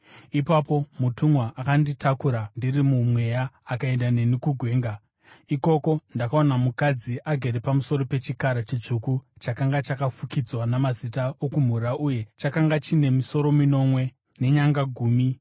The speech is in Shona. Ipapo mutumwa akanditakura ndiri muMweya akaenda neni kugwenga. Ikoko ndakaona mukadzi agere pamusoro pechikara chitsvuku chakanga chakafukidzwa namazita okumhura uye chakanga chine misoro minomwe nenyanga gumi.